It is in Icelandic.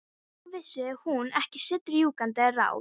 Nú vissi hún ekki sitt rjúkandi ráð.